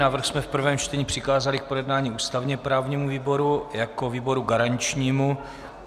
Návrh jsme v prvém čtení přikázali k projednání ústavně-právnímu výboru jako výboru garančnímu.